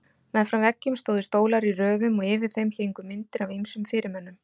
Meðfram veggjum stóðu stólar í röðum og yfir þeim héngu myndir af ýmsum fyrirmönnum.